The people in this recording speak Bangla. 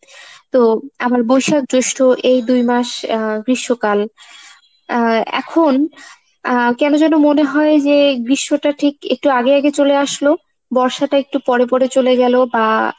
তো আবার বৈশাখ, জৈষ্ঠ এই দুই মাস আহ গ্রীষ্মকাল আহ এখন আহ কেন জানি মনে হয় যে গ্রীষ্মটা ঠিক একটু আগে আগে চলে আসলো বর্ষাটা একটু পরেপরে চলে গেলো বা